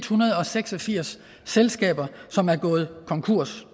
hundrede og seks og firs selskaber som er gået konkurs